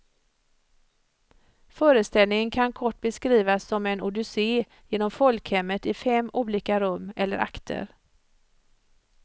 Föreställningen kan kort beskrivas som en odyssé genom folkhemmet i fem olika rum, eller akter.